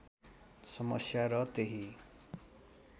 समस्या र त्यही